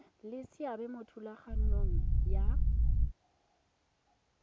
le seabe mo thulaganyong ya